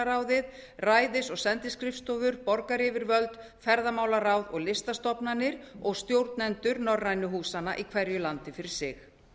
ráðið ræðis og sendiskrifstofur borgaryfirvöld ferðamálaráð og listastofnanir og stjórnendur norrænu húsanna í hverju landi fyrir sig